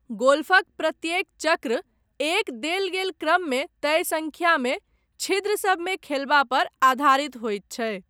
गोल्फक प्रत्येक चक्र, एक देल गेल क्रममे तय सङ्ख्यामे छिद्र सभमे खेलबा पर आधारित होइत छै।